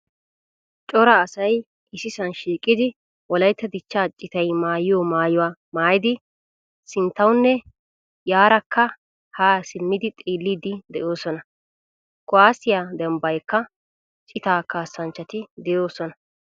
Cora asay issisan shiiqidi wolaytta dichcha citay maayiyo maayuwaa maayidi sinttawunne yaarakka a simmidi xeellidi deosona. Kuwaasiyaa dembbanikka cita kasanchchati deosona.